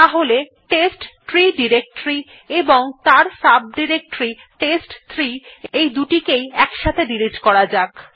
তাহলে test tree directory এবং তার সাব ডিরেক্টরী test3 এই দুটিকে একসাথে ডিলিট করা যাক